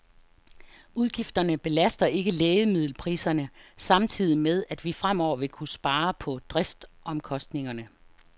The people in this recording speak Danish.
Udgifterne belaster ikke lægemiddelpriserne, samtidig med at vi fremover vil kunne spare på driftsomkostningerne.